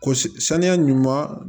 Ko saniya ɲuman